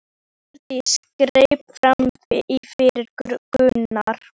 Hjördís greip fram í fyrir Gunnari.